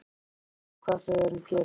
Ég sé ekki hvað þau eru að gera.